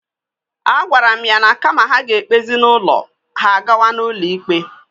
A gwara mụ ya na kama ha ga-egbezi n'ụlọ, ha agawa n'ụlọ ikpe.